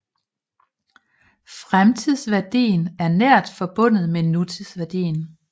Fremtidsværdien er nært forbundet med nutidsværdien